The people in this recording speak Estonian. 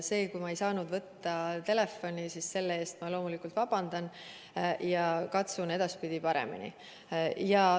Selle eest, et ma ei saanud võtta telefoni, ma loomulikult vabandan ja katsun edaspidi paremini.